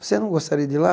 Você não gostaria de ir lá?